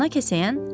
Ana kəsəyən: